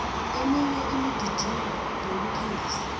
eminye imigidingo ngeyokukhangisa